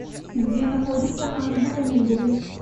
где находится азбука мебели